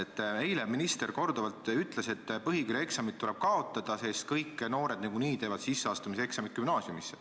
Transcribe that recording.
Eile ütles minister korduvalt, et põhikooli eksamid tuleb kaotada, sest kõik noored teevad niikuinii sisseastumiseksamid gümnaasiumisse.